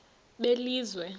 belizwe